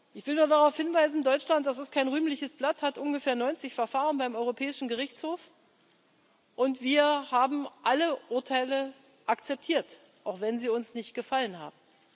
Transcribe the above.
Ich will nur darauf hinweisen Deutschland das ist kein rühmliches Blatt hat ungefähr 90 Verfahren beim Europäischen Gerichtshof, und wir haben alle Urteile akzeptiert, auch wenn sie uns nicht gefallen haben.